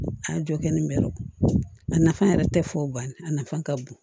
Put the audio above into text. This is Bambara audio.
A y'a jɔ kɛ ni bɛrɛw a nafa yɛrɛ tɛ fɔ banni ye a nafa ka bon